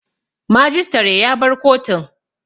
Majistare ya bar kotun